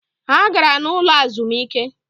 Ha gara n’ ụlọ azụmike